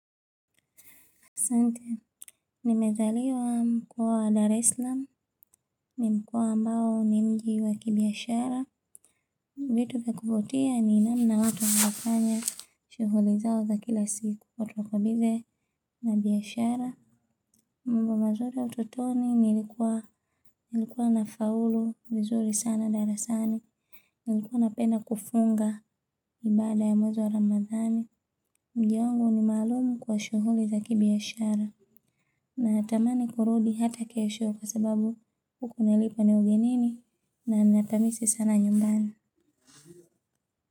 Sante, nimezaliwa mkoa wa Dar es salam, ni mkoa ambao ni mji wa kibiashara. Vitu vya kuvutia ni namna watu wanavyofanya shuhuli zao za kila siku. Otokobide na biashara. Mbu ma mzuri ya utotoni nilikuwa nafaulu vizuri sana darasani. Nilikuwa napenda kufunga ibada ya mwezi wa ramadhani. Mda wangu ni maalumu kwa shughuli za kibiashara. Na natamani kurudi hata kesho kwa sababu huku nilipo ni ugenini na napamisi sana nyumbani.